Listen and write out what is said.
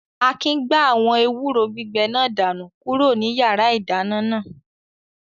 Akin gbá àwọn ewúro gbígbẹ náà dànù kúrò ní yàrá-ìdáná náà